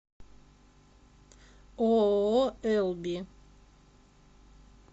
ооо элби